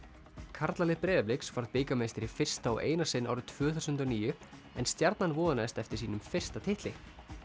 karlalið Breiðabliks varð bikarmeistari í fyrsta og eina sinn árið tvö þúsund og níu en Stjarnan vonaðist eftir sínum fyrsta titli